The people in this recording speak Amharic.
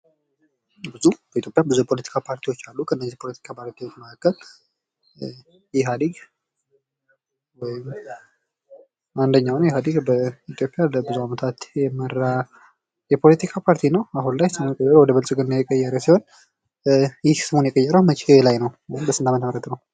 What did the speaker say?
በኢትዮጵያ ብዙ የፖለቲካ ፓርቲዎች አሉ ከነዚህ ፖለቲካ ፓርቲዎች መካከል ኢሃዴግ አንደኛዉ ነው ኢሃጌድ በኢትዮጵያ ለብዙ አመታት የመራ የፖለቲካ ፓርቲ ነው አሁን ላይ ስሙን ወደ ብልጽግና የቀየረ ሲሆን ይህ ስሙን የቀየረዉ መቼ ላይ ነው ወይም በስንት አመተምህረት ነው?